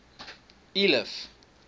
eliff